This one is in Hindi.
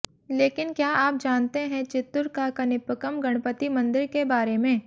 लेकिन क्या आप जानते है चित्तूर का कनिपक्कम गणपति मंदिर के बारे में